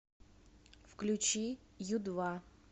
включи ю два